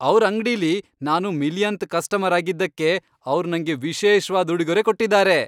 ಅವ್ರ್ ಅಂಗ್ಡಿಲಿ ನಾನು ಮಿಲಿಯನ್ತ್ ಕಸ್ಟಮರ್ ಆಗಿದ್ದಕ್ಕೆ ಅವ್ರ್ ನಂಗೆ ವಿಶೇಷ್ವಾದ್ ಉಡುಗೊರೆ ಕೊಟ್ಟಿದಾರೆ.